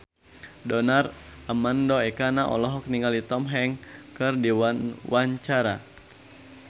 Donar Armando Ekana olohok ningali Tom Hanks keur diwawancara